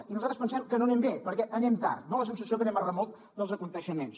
i nosaltres pensem que no anem bé perquè anem tard dona la sensació que anem a remolc dels esdeveniments